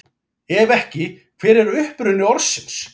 Ef ekki, hver er uppruni orðsins?